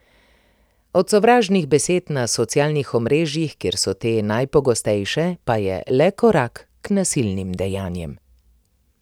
Od sovražnih besed na socialnih omrežjih, kjer so te najpogostejše, pa je le korak k nasilnim dejanjem.